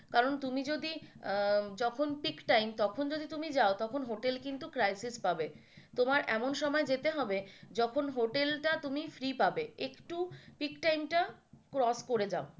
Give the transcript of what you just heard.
কারণ তুমি যদি যখন pick time তখন যদি তুমি যাও তখন hotel কিন্ত crisis পাবে তোমায় এমন সময় যেতে হবে যখন হোটেলটা তুমি free পাবে একটু pick time টা off করে যাও।